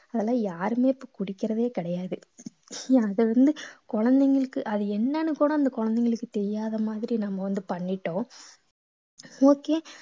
அதெல்லாம் யாருமே இப்ப குடிக்கிறதே கிடையாது அது வந்து குழந்தைங்களுக்கு அது என்னன்னு கூட அந்த குழந்தைங்களுக்கு தெரியாத மாதிரி நம்ம வந்து பண்ணிட்டோம் okay